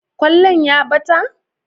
kwallon ya ɓata?